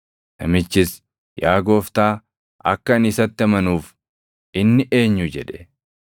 Namichis, “Yaa gooftaa, akka ani isatti amanuuf inni eenyu?” jedhe.